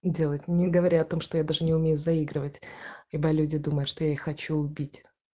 делать не говоря о том что я даже не умею заигрывать ибо люди думают что я их хочу убить